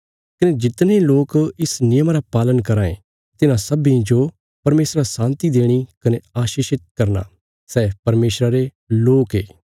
कने जितने लोक इस नियमा रा पालन कराँ ये तिन्हां सब्बीं जो परमेशरा शान्ति देणी कने आशीषित करना सै परमेशरा रे लोक ये